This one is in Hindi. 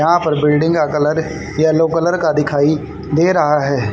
यहाँ पर बिल्डिंग का कलर येलो कलर का दिखाई दे रहा है।